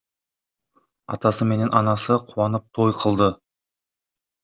атасы менен анасы қуанып той қылды